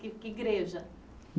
Que que igreja?